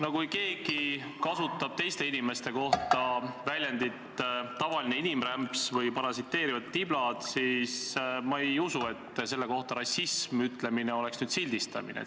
No kui keegi kasutab teiste inimeste kohta väljendit "tavaline inimrämps" või "parasiteerivad tiblad", siis ma ei usu, et selle kohta "rassism" ütlemine oleks sildistamine.